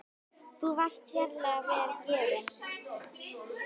Þú varst sérlega vel gefin.